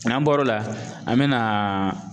N'an bɔr'o la an bɛ na